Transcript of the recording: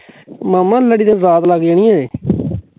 ਮਾਮਾ ਲੜੀ ਦੇ ਬਰਾੜ ਲੱਗ ਜਾਣੀ ਏਂ